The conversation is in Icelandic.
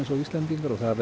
og Íslendingar það